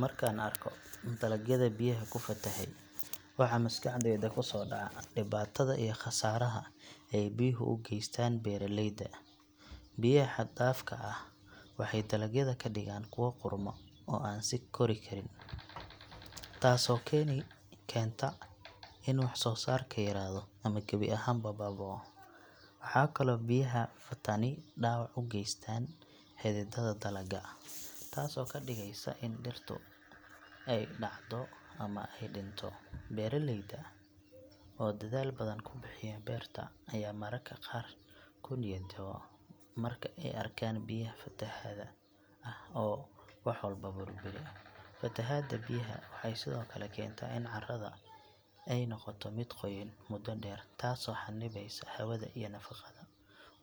Marka aan arko dalagyada biyaha ku fatahay, waxa maskaxdayda ku soo dhaca dhibaatada iyo khasaaraha ay biyuhu u geystaan beeraleyda. Biyaha xad dhaafka ah waxay dalagyada ka dhigaan kuwo qudhma oo aan sii kori karin, taasoo keenta in wax soo saarku yaraado ama gebi ahaanba baaba’o. Waxaa kaloo biyaha fatani dhaawac u geystaan xididdada dalagga, taasoo ka dhigaysa in dhirtu ay dhacdo ama ay dhinto. Beeraleyda oo dadaal badan ku bixiya beerta ayaa mararka qaar ku niyad jaba marka ay arkaan biyaha fatahaadda ah oo wax walba burburiya. Fatahaadda biyaha waxay sidoo kale keentaa in carrada ay noqoto mid qoyan muddo dheer taasoo xannibaysa hawada iyo nafaqada